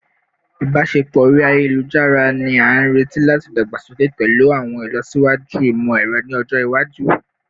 Ibaṣepọ ori ayelujara ni a nireti lati dagbasoke pẹlu awọn ilọsiwaju imọ-ẹrọ ni ọjọ iwaju